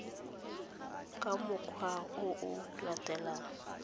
ka mokgwa o o latelang